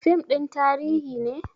Fim ɗin tarihi ne?